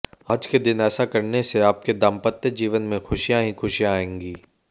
आज के दिन ऐसा करने से आपके दाम्पत्य जीवन में खुशियां ही खुशियां आयेंगी